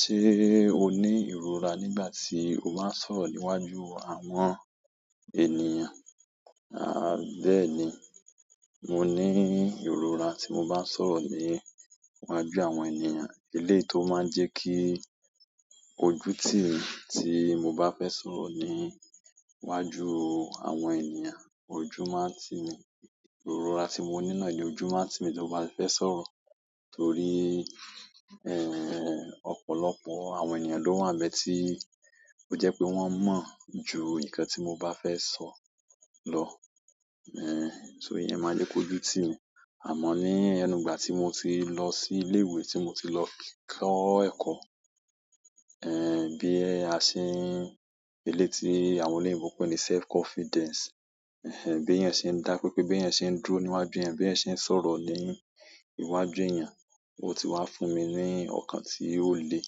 Ṣé o ní ìrora nígbà tí o bá ń sọ̀rọ̀ níwájú àwọn ènìyàn? Àá bẹ́ẹ̀ni, mo ní ìrora tí mo bá ń sọ̀rọ̀ níwájú àwọn ènìyàn. Eléyí tó máa ń jẹ́ kí ojú tì mí, tí mo bá fẹ́ sọ̀rọ̀ níwájú àwọn ènìyàn. Ojú máa ń tì mí. Ìrora tí mo ní náà ni ojú máa ń tì mí tí mo bá fẹ sọ̀rọ̀. Torí, ẹ́ẹ́ ọ̀pọ̀lọpọ̀ àwọn ènìyàn ló wà nbẹ̀ tí ó jẹ́ pé wọ́n mọ̀ ju nǹkan tí mo bá fẹ́ sọ lọ. Ẹ̀, só iyẹn máa jẹ́ kó ojú tì mí. Àmọ́ ní ẹnu ìgbà tí mo ti lọ sí ilé ìwé tí mo ti lọ kọ́ ẹ̀kọ́, ẹ́ bí a ṣe ń, eléyìí tí àwọn oloyinbo ń pe ní self confidence. Ẹ̀hẹn, bí eẹyann ṣe ń dá pé pé bí yẹn ṣe ń durò níwájú ẹeyan, bí yẹn ṣe ń sọ̀rọ̀ ní iwájú ènìyàn, ó ti wá fún mi ní ọ̀kan tí ó le.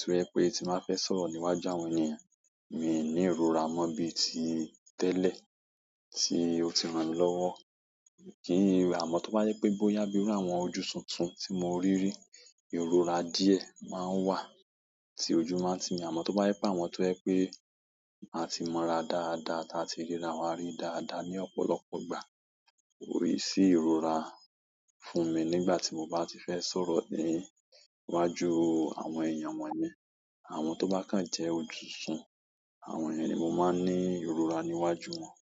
To je pé tí màá fẹ sọ̀rọ̀ níwájú àwọn ènìyàn, mi ò ní ìrora mọ́ bíi ti tẹ́lẹ̀ tí ó ti ràn mí lọ́wọ́. Kìíní àmọ́ tó bá jẹ pé bóyá bíi ní àwọn ojú tuntun tí mo rí rí, ìrora díẹ̀ máa ń wà tí ojú máa ń tì mí. Àmọ́ tó bá yẹ páwọ̀n to je pé àti mọ́ra dáadáa táa ti ríra wá rí dáadáa ní ọ̀pọ̀lọpọ̀ ìgbà, kò ní ṣí ìrora fún mi nígbà tí mo bá ti fẹ́ sọ̀rọ̀ níwájú àwọn ènìyàn wọ̀nyí. Àwọn tó bá kàn jẹ́ ojú tuntún, àwọn yẹn ni mo máa ní ìrọ̀ra níwájú wọn.